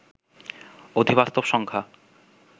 অধিবাস্তব সংখ্যা